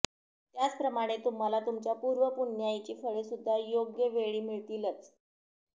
त्याचप्रमाणे तुम्हाला तुमच्या पूर्व पुण्याईची फळे सुद्धा योग्य वेळी मिळतीलच